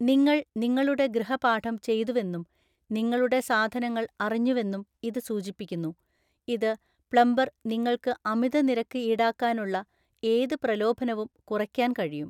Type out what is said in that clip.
നിങ്ങൾ നിങ്ങളുടെ ഗൃഹപാഠം ചെയ്തുവെന്നും നിങ്ങളുടെ സാധനങ്ങൾ അറിഞ്ഞുവെന്നും ഇത് സൂചിപ്പിക്കുന്നു, ഇത് പ്ലംബർ നിങ്ങൾക്ക് അമിത നിരക്ക് ഈടാക്കാനുള്ള ഏത് പ്രലോഭനവും കുറയ്ക്കാൻ കഴിയും.